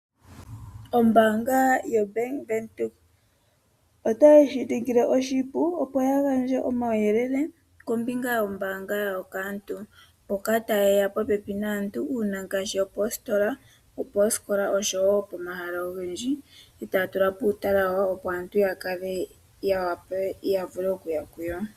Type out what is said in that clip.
Ombaanga yoBank Windhoek otayi shiningile oshipu opo yagandje omawuyelele kombinga yombaanga yawo kaantu mboka tayeya popepi naantu uuna ngaashi opoositola, opoosikola oshowo pomahala ogendji etaatula po uutala wagwana opo aantu yakale yawape yavule okuya kuyo.